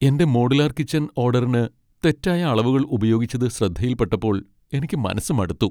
എന്റെ modular kitchen ഓഡറിന് തെറ്റായ അളവുകൾ ഉപയോഗിച്ചത് ശ്രദ്ധയിൽപ്പെട്ടപ്പോൾ എനിക്ക് മനസ്സ് മടുത്തു.